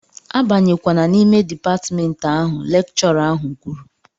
A banyekwana n'ime dịpatmentị ahụ! Lekchọra ahụ kwuru